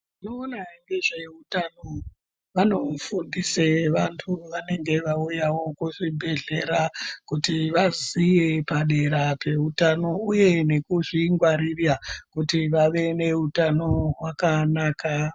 Vanoona ngezveutano vanofundise vantu vanenge vauyawo kuzvibhedhlera kuti vazive padera peutano uye ngekuzvingwarira kuti vave neutano hwakanaka.